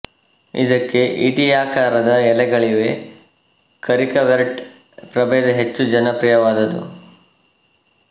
ಇದಕ್ಕೆ ಈಟಿಯಾಕಾರದ ಎಲೆಗಳಿವೆ ಕ ರಿಕರ್ವೇಟ ಪ್ರಭೇದ ಹೆಚ್ಚು ಜನಪ್ರಿಯವಾದುದು